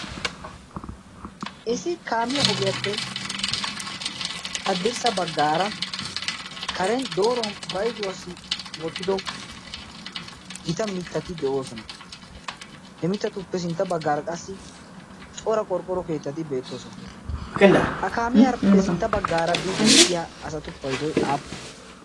isi kaamiya ogiyaappe haddirssa baggaara karen dooruwan bayzuwaassi wottido gita mittati de'oosona he mittatuppe sintta baggaara qassi cora qorqqoro keettati beettoosona. ha kaamiyaarppe sintta baggaara biiddi de'iya asatu paidoy aappunee?